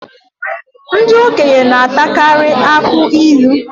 Ndị okenye na-atakarị akụ ilu